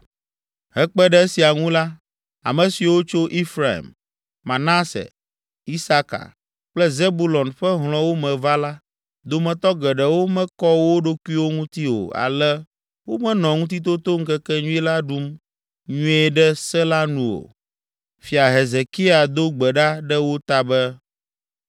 Hekpe ɖe esia ŋu la, ame siwo tso Efraim, Manase, Isaka kple Zebulon ƒe hlɔ̃wo me va la, dometɔ geɖewo mekɔ wo ɖokuiwo ŋuti o ale womenɔ Ŋutitotoŋkekenyui la ɖum nyuie ɖe se la nu o. Fia Hezekia do gbe ɖa ɖe wo ta be,